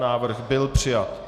Návrh byl přijat.